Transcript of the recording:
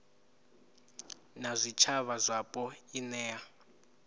na zwitshavha zwapo i nea